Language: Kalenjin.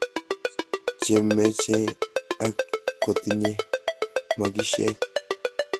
chemenye ak kotinye maskishek